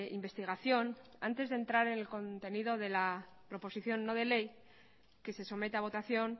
investigación antes de entrar en el contenido de la proposición no de ley que se somete a votación